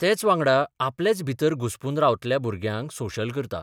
तेच वांगडा आपलेच भितर घुस्पून रावतल्या भुरग्यांक सोशल करता.